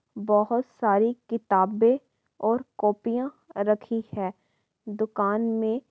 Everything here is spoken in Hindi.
बहुत सारी किताबे और कॉपीयां रखी हैं दुकान में --